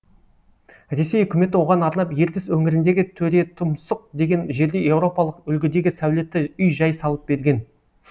ресей үкіметі оған арнап ертіс өңіріндегі төретұмсық деген жерде еуропалық үлгідегі сәулетті үй жай салып берген